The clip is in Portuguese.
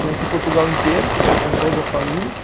Conheci Portugal inteiro, conhecendo todas as famílias.